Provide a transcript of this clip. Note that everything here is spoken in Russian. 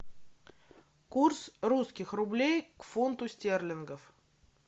курс русских рублей к фунту стерлингов